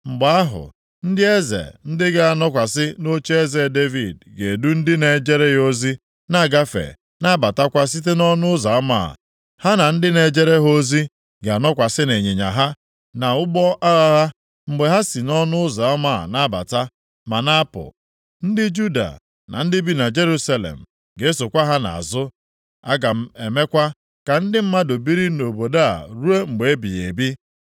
mgbe ahụ, ndị eze ndị ga-anọkwasị nʼocheeze Devid ga-edu ndị na-ejere ya ozi na-agafe na-abatakwa site nʼọnụ ụzọ ama a. Ha na ndị na-ejere ha ozi ga-anọkwasị nʼịnyịnya ha, na nʼụgbọ agha ha, mgbe ha sị nʼọnụ ụzọ ama a na-abata, ma na-apụ. Ndị Juda, na ndị bi na Jerusalem ga-esokwa ha nʼazụ. Aga m emekwa ka ndị mmadụ biri nʼobodo a ruo mgbe ebighị ebi.